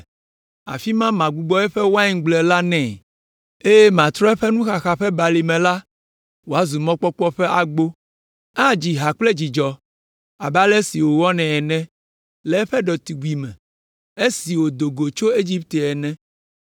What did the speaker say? Afi ma magbugbɔ eƒe waingble la nɛ, eye matrɔ eƒe Nuxaxa ƒe Balime la wòazu Mɔkpɔkpɔ ƒe Agbo. Adzi ha kple dzidzɔ abe ale si wònɔ nɛ le eƒe ɖetugbime esi wòdo go tso Egipte ene.”